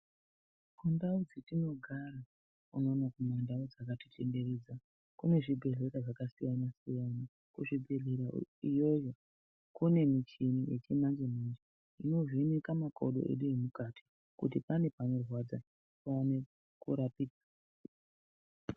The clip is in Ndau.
Kundau dzetinogara unono kumandau dzakatitenderedza kune zvibhedhlera zvakasiyana -siyana. Kuzvibhehlera iyoyo kune michini yechimanje-manje inovheneka makodo edu emukati kuti pane panorwadza paone kurapika.